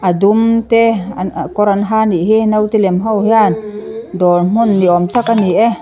a dum te an kawr an ha nih hi note lem ho hian dawr hmun niawm tak ani e.